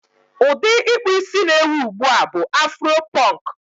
Ụdị ịkpụ isí na-ewi ugbu a bụ afuro pọnk.